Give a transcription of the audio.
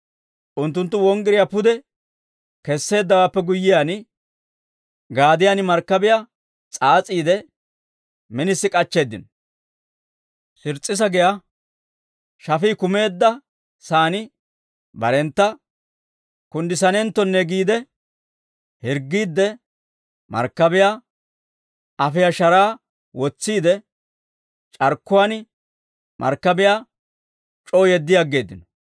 Unttunttu wonggiriyaa pude kesseeddawaappe guyyiyaan, gaadiyaan markkabiyaa s'aas'iide, minisi k'achcheeddino; Sirs's'isa giyaa shafii kumeedda saan barentta kunddissanenttonne giide hirggiide, markkabiyaa afiyaa sharaa wotsiide, c'arkkuwaan markkabiyaa c'oo yeddi aggeeddino.